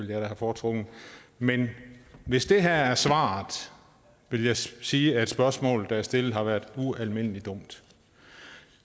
jeg da have foretrukket men hvis det her er svaret vil jeg sige at spørgsmålet der er stillet har været ualmindelig dumt